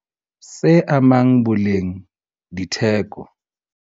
Se amang boleng le theko